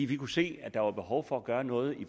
vi kunne se at der var behov for at gøre noget i